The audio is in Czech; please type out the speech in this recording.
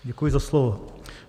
Děkuji za slovo.